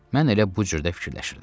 Mən elə bu cür də fikirləşirdim.